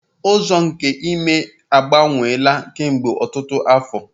Ụzọ nke ime ememe agbanweela kemgbe ọtụtụ afọ